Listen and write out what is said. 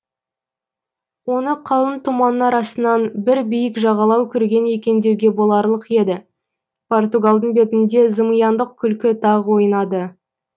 оны қалың тұманның арасынан бір биік жағалау көрген екен деуге боларлық еді португалдың бетінде зымияндық күлкі тағы ойнады